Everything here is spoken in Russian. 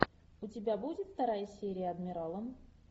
у тебя будет вторая серия адмирала